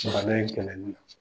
Jamana in kɛlɛli.